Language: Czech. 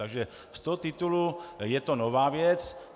Takže z toho titulu je to nová věc.